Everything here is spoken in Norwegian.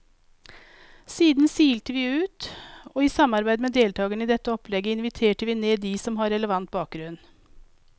Siden silte vi ut, og i samarbeid med deltagerne i dette opplegget inviterte vi ned de som har relevant bakgrunn.